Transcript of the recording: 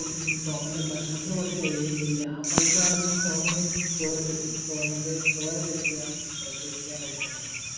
ഉം സോമൻ്റെ ഭക്ഷണത്തിന് പോലും തികയുന്നില്ല ആ പൈസ സോമൻ സോമൻ്റെ ചോര check ചെയ്യണം ഏർ check എയ്യാൻ കൊട്ക്കണ്ടാകും